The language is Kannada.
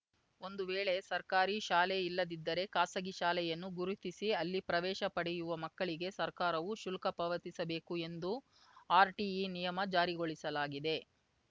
ಒಂದು ವೇಳೆ ಸರ್ಕಾರಿ ಶಾಲೆ ಇಲ್ಲದಿದ್ದರೆ ಖಾಸಗಿ ಶಾಲೆಯನ್ನು ಗುರುತಿಸಿ ಅಲ್ಲಿ ಪ್ರವೇಶ ಪಡೆಯುವ ಮಕ್ಕಳಿಗೆ ಸರ್ಕಾರವು ಶುಲ್ಕ ಪಾವತಿಸಬೇಕು ಎಂದು ಆರ್‌ಟಿಇ ನಿಯಮ ಜಾರಿಗೊಳಿಸಲಾಗಿದೆ